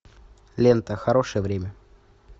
лента хорошее время